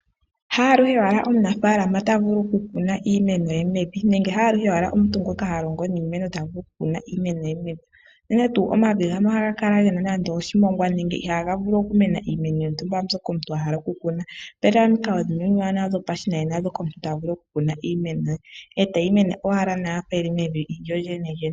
Haaluhe wala omunafaalama tavulu okukuna iimeno ye mevi nenge haaluhe owala omuntu ngoka ha longo niimeno tavulu oku kuna iimeno ye mevi, unene tuu omavi gamwe oha ga kala gena nande oshimongwa nenge iha ga vulu okumena iimeno yontumba mbyoka omuntu ahala okukuna. Opena omikalo dhimwe omiwanawa dhopashinanena ndhoka omuntu ta vulu okukuna iimeno ye, etayi mene owala nawa yafa yili mevi lyo lyene.